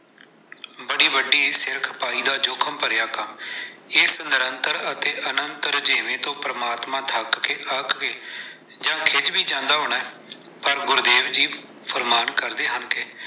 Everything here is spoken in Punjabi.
ਬੜੀ ਵੱਡੀ ਸਿਰ ਖਪਾਈ ਦੀ ਜੋਖਿਮ ਭਰਿਆ ਕੰਮ, ਇਸ ਨਿਰੰਤਰ ਅਤੇ ਅਨੰਤ ਰੁਝੇਵੇਂ ਤੋਂ ਪਰਮਾਤਮਾ ਥੱਕ ਕੇ, ਅੱਕ ਕੇ ਜਾਂ ਖਿਝ ਵੀ ਜਾਂਦਾ ਹੋਣਾ, ਪਰ ਗੁਰਦੇਵ ਜੀ ਫਰਮਾਨ ਕਰਦੇ ਹਨ ਕਿ।